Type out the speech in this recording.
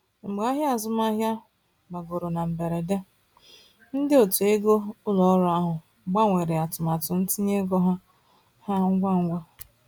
Mgbe ahịa azụmahịa gbagoro na mberede, ndị otu ego ụlọ ọrụ ahụ gbanwere atụmatụ ntinye ego ha ha ngwa ngwa.